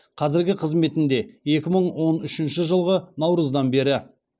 қазіргі қызметінде екі мың он үшінші жылғы наурыздан бері